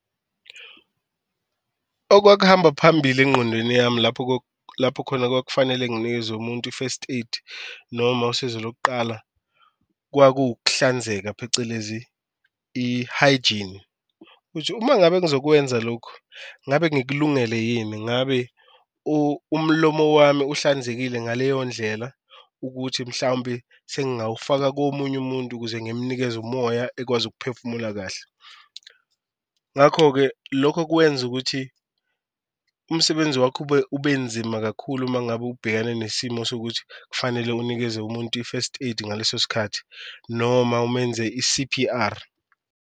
Okwakuhamba phambili engqondweni yami lapho lapho khona kwakufanele nginikeze khona umuntu i-first aid noma usizo lokuqala kwakuwukuhlanzeka phecelezi i-hygiene. Ukuthi uma ngabe ngizokwenza lokhu ngabe ngikulungele yini, ngabe umlomo wami uhlanzekile ngaleyo ndlela ukuthi mhlawumbe sengawufaka komunye umuntu ukuze ngimnikeze umoya ekwazi ukuphefumula kahle. Ngakho-ke lokho kwenza ukuthi umsebenzi wakhe ubenzima kakhulu uma ngabe ubhekane nesimo sokuthi kufanele unikeze umuntu i-first aid ngaleso sikhathi, noma umenze i-C_P_R.